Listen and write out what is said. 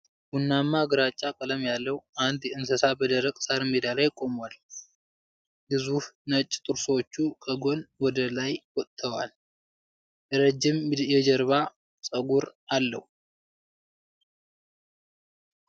ቡናማማ ግራጫ ቀለም ያለው አንድ እንስሣ በደረቅ ሳር ሜዳ ላይ ቆሟል። ግዙፍ ነጭ ጥርሶቹ ከጎን ወደ ላይ ወጥተዋል። ረዥም የጀርባ ጸጉር አለው።